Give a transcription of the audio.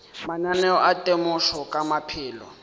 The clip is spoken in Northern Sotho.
mananeo a temošo ka maphelo